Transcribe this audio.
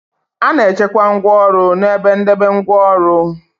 A na-echekwa ngwaọrụ n' ebe ndebe ngwaọrụ.